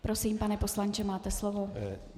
Prosím, pane poslanče, máte slovo.